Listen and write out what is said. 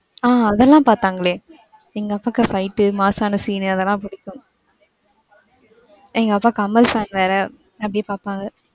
ஆஹ் அதெல்லாம் பாதாங்களே எங்க அப்பாக்கு fight உ mass சான scene அதெல்லாம் பிடிக்கும். எங்க அப்பா கமல் fan வேற அப்டியே பாப்பாங்க.